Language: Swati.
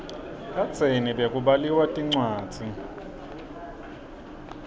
kadzeni bekubaliwa tincwadzi